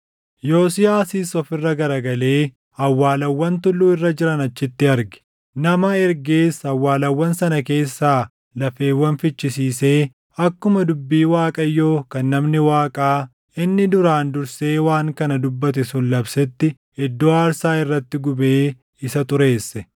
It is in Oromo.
Yosiyaasis of irra garagalee awwaalawwan tulluu irra jiran achitti arge; nama ergees awwaalawwan sana keessaa lafeewwan fichisiisee akkuma dubbii Waaqayyoo kan namni Waaqaa inni duraan dursee waan kana dubbate sun labsetti iddoo aarsaa irratti gubee isa xureesse.